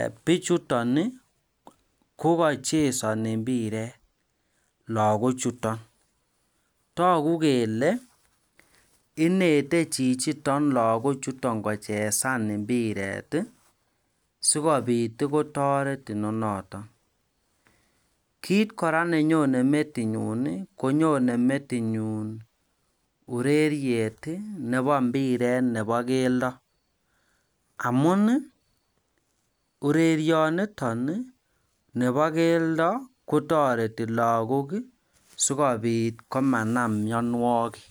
e bichuton Ii kokochesoni impiret logochuton toku kele inete chichiton logochuton kochesan impiret ii sikobit kotoret inonoton kit kora nenyonen metinyun Ii konyonen metinyun ureriet Ii nebo impiret nebo keldo amun Ii orerioniton nebokeldo kotoreti logok sikobit komanam myonwokik